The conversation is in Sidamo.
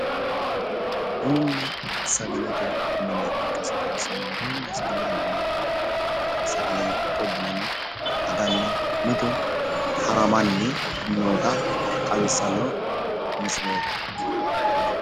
bununna sagalete mine ikkasi xawisanno bununna sagalete mine mannu ofolle sagaleno ikko bunano aganni mitu haramanni noota xawissano misileeti